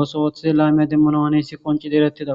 otho lame qonccises.